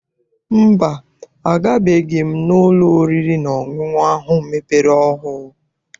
Mba, agabeghị m n'ụlọ oriri na ọṅụṅụ ahụ mepere ọhụụ.